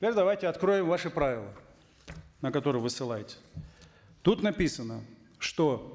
давайте откроем ваши правила на которые вы ссылаетесь тут написано что